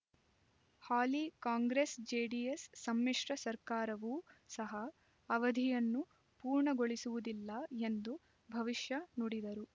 ಹಾಲಿ Congress JDS ಸಮ್ಮಿಶ್ರ ಸರ್ಕಾರವೂ ಸಹ ಅವಧಿಯನ್ನು ಪೂರ್ಣಗೊಳಿಸುವುದಿಲ್ಲ ಎಂದು ಭವಿಷ್ಯ ನುಡಿದರು